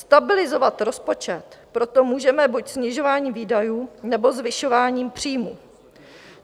Stabilizovat rozpočet proto můžeme buď snižováním výdajů, nebo zvyšováním příjmů.